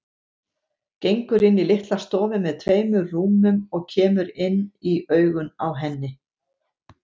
Gengur inn í litla stofu með tveimur rúmum og kemur inn í augun á henni.